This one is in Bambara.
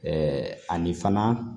Ɛɛ ani fana